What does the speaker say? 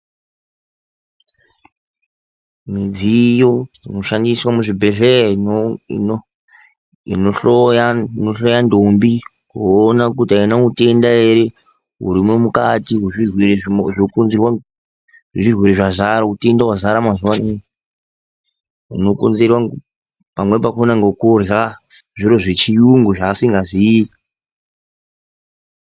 Midziyo inoshandiswa muzvibhedhlera inohloya ndombi kuona kuti aina utenda ere hurimwo mukati hwezvirwere hunokonzerwa neutenda hwazara mazuwa ano hunokonzerwa pamweni pakona ngekurya zviro zvechiyungu zvaasingaziyi.